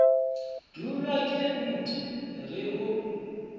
dulwa ke nt re o